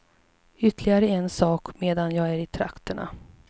Ytterligare en sak medan jag är i trakterna.